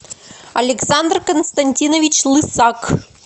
александр константинович лысак